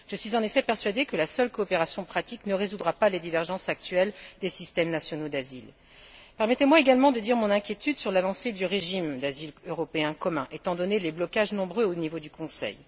Je suis en effet persuadée que la seule coopération pratique ne résoudra pas les divergences actuelles des systèmes nationaux d'asile. Permettez moi également de dire mon inquiétude sur l'avancée du régime d'asile européen commun étant donné les blocages nombreux au niveau du Conseil.